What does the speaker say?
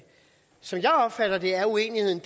som jeg opfatter det er uenigheden